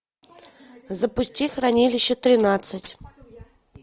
запусти хранилище тринадцать